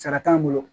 Sara t'an bolo